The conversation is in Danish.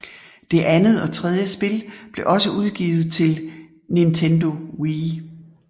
Det andet og tredje spil blev også udgivet til Nintendo Wii